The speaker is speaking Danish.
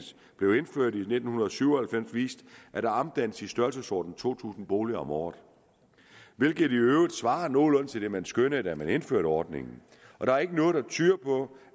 blev indført i nitten syv og halvfems vist at der omdannes i størrelsesordenen to tusind boliger om året hvilket i øvrigt svarer nogenlunde til det man skønnede da man indførte ordningen og der er ikke noget der tyder på